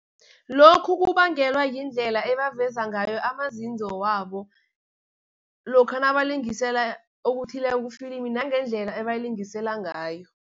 Lokhu kubangelwa yindlela ebaveza ngayo amazizo wabo, lokha nabalingisela okuthileko kufilimu nangendlela abalingisela ngayo.